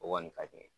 O kɔni ka di n ye